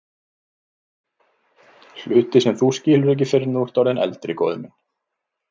Hluti sem þú skilur ekki fyrr en þú ert orðinn eldri, góði minn.